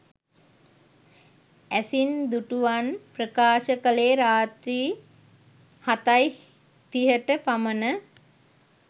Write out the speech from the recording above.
ඇසින් දුටුවන් ප්‍රකාශ කළේ රාත්‍රී හතයි තිහට පමණ